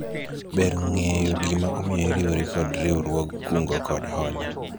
ber ng'eyo gima omiyo iriwori kod riwruog kungo kod hola